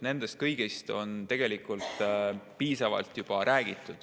Sellest kõigest on juba piisavalt räägitud.